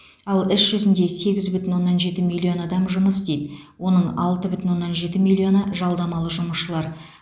ал іс жүзінде сегіз бүтін оннан жеті миллион адам жұмыс істейді оның алты бүтін оннан жеті миллионы жалдамалы жұмысшылар